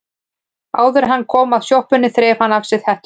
Áður en hann kom að sjoppunni þreif hann af sér hettuna.